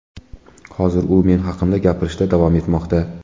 Hozir u men haqimda gapirishda davom etmoqda.